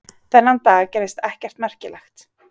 Þennan dag gerðist ekkert merkilegt.